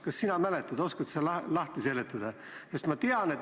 Kas sina mäletad, oskad sa lahti seletada?